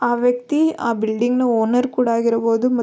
ಆ ವ್ಯಕ್ತಿ ಆಹ್ಹ್ ಬಿಲ್ಡಿಂಗ್ ನ ಓನರ್ ಕೂಡ ಆಗಿರ್ಬಹುದು --